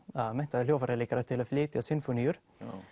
menntaða hljóðfæraleikara til að flytja sinfóníur